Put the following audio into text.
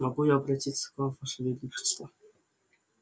могу я обратиться к вам ваше величество